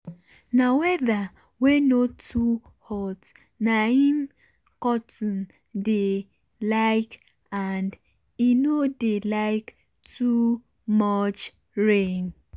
na weather wey no too hot na im cotton dey like and e no dey like too much rain